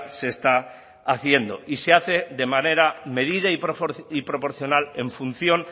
se está haciendo y se hace de manera medida y proporcional en función